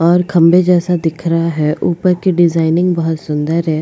और खंभे जैसा दिख रहा है ऊपर की डिजाइनिंग बहुत सुंदर है।